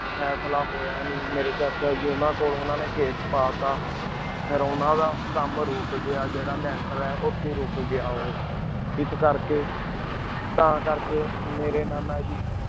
ਫਾਸਲਾ ਹੂਯ ਨੀ ਮੇਰੀ ਚਾਚਾ ਜੀ ਉਨਾ ਕੋਲੁਨ ਉਨਾ ਨੀ case ਚੜਾ ਤਾ ਫੇਰ ਉਨਾ ਦਾ ਕਾਮ ਰੁਕ ਗਯਾ ਜੀਰਾਂ ਲਾੰਟਰ ਆਯ ਉ ਰੁਕ ਗਯਾ ਏਸ ਕਰ ਕੀ ਤਾਂ ਕਰ ਕੀ ਮੇਰੀ ਨਾਨਾ ਜੀ